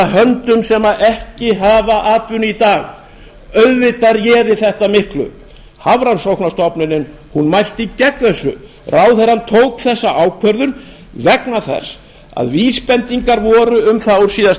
höndum sem ekki hafa atvinnu í dag auðvitað réði þetta miklu hafrannsóknastofnunin mælti gegn þessu ráðherrann tók þessa ákvörðun vegna þess að vísbendingar voru um það á síðasta